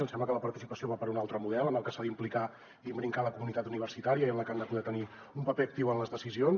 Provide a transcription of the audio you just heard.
ens sembla que la participació va per un altre model en el que s’ha d’implicar i imbricar la comunitat universitària i en el que han de poder tenir un paper actiu en les decisions